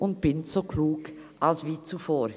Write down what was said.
Und bin so klug als wie zuvor.»